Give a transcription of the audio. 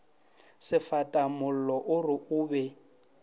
sefatamollo o re o be